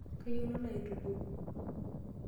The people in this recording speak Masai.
Kayieu nalo aitukuo.